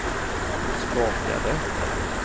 skakade